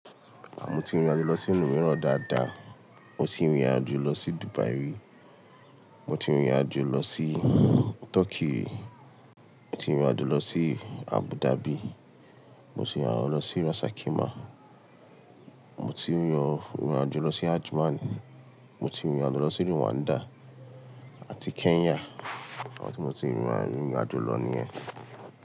Mọ́ ti n rìn irìn àjò lọ sí ìlù miran dáadáa, mo ti n rìn irìn àjò lọ sí Dubai rí, mo ti n rìn rìn àjò lọ sí Turkey ri, mo ti n rìn irìn àjò lọ sí Abu Dhabi, mo ti n rìn irìn àjò lọ sí Ras Al Khimah, mo ti n rìn irìn àjò lọ sí Ajman, mo ti n rìn irìn àjò lọ sí Rwanda àti Kenya. Àwọn tí mo ti n rìn irìn àjò lọ nìyẹn.